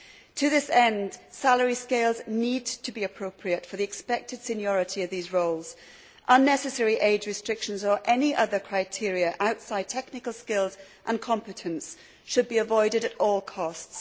To that end, salary scales need to be appropriate to the expected seniority of those roles. Unnecessary age restrictions, or any other criteria outside technical skills and competence, should be avoided at all costs.